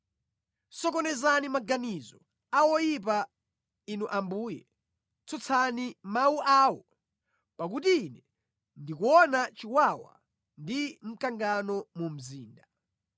Sokonezani maganizo a oyipa, Inu Ambuye, tsutsani mawu awo; pakuti ine ndikuona chiwawa ndi mkangano mu mzinda.